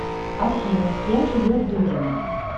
афина с кем живет дудина